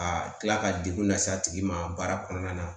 A kila ka degun lase a tigi ma baara kɔnɔna na